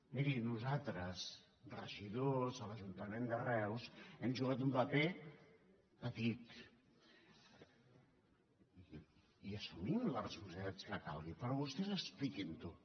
miri nosaltres regidors de l’ajuntament de reus hem jugat un paper petit i assumim les responsabilitats que calguin però vostès expliquin ho